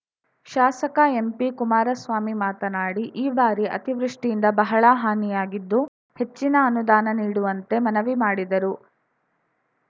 ಶಾಸಕ ಎಂಪಿಕುಮಾರಸ್ವಾಮಿ ಮಾತನಾಡಿ ಈ ಬಾರಿ ಅತಿವೃಷ್ಠಿಯಿಂದ ಬಹಳ ಹಾನಿಯಾಗಿದ್ದು ಹೆಚ್ಚಿನ ಅನುದಾನ ನೀಡುವಂತೆ ಮನವಿ ಮಾಡಿದರು